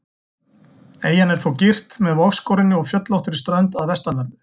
Eyjan er þó girt með vogskorinni og fjöllóttri strönd að vestanverðu.